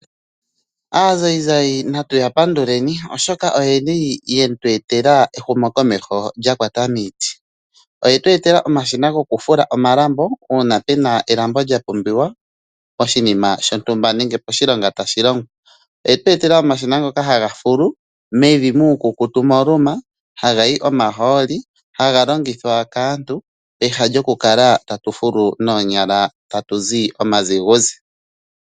Aazayizayi natuya panduleni, oshoka oyeli we tweetela ehumo komeho lyakwata miiti. Oyetu etela omashina gokufula omalambo una pena elambo lya pumbiwa oshinima shontumba nengenenge poshilonga tashilongwa. Oyetu etela omashina hagafulu mevi muukukutu moluma hagayi omahooli haga longithwa kaantu Peha yokukala tatufulu noonyala tatuzi omazuguzi.